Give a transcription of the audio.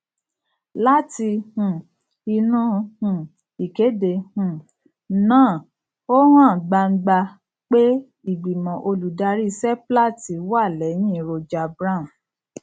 láti um inú um ìkéde um náà ó hàn gbangba pé ìgbìmọ olùdarí seplat wà lẹyìn roger brown